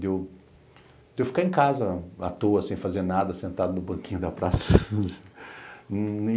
Deu ficar em casa à toa, sem fazer nada, sentado no banquinho da praça.